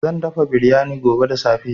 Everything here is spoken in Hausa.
Zan dafa biryani gobe da safe.